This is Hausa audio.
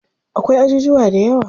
Akwai ajujuwa dayawa.